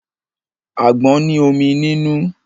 Àgbọn ní omi nínú.